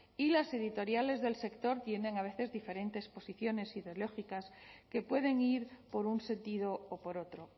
y las editoriales del sector tienen a veces diferentes posiciones ideológicas que pueden ir por un sentido o por otro